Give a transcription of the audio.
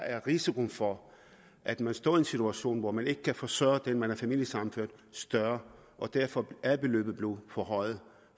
er risikoen for at man står i en situation hvor man ikke kan forsørge dem man har familiesammenført større og derfor er beløbet blevet forhøjet